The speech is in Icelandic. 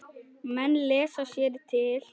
Menn lesa sér til.